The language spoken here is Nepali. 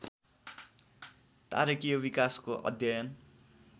तारकीय विकासको अध्ययन